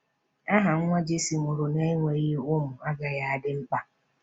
Aha nwa Jesse nwụrụ n’enweghị ụmụ agaghị adị mkpa.